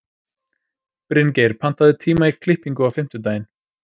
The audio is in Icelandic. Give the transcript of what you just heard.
Bryngeir, pantaðu tíma í klippingu á fimmtudaginn.